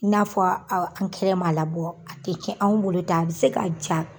N'a fɔ aw ankɛrɛ ma labɔ, a tɛ kɛ anw bo de ta a bɛ se k'a ja.